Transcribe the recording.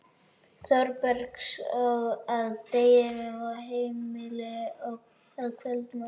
Þórbergs að deginum og heimili að kvöldinu.